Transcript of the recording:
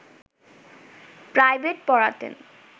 private পড়াতেন